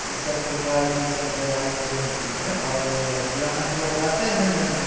इस प्रकार की इस मे दवाइयाँ मिलती हैं और ग्राहक लोग आते हैं लेने।